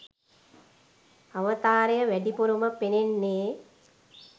අවතාරය වැඩිපුරම පෙනෙන්නේ